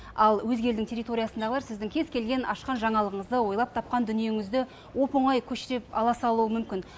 ал өзге елдің территориясындағылар сіздің кез келген ашқан жаңалығыңызды ойлап тапқан дүниеңізді оп оңай көшіріп ала салуы мүмкін